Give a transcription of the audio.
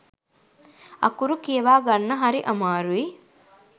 අකුරු කියවා ගන්න හරි අමාරුයි.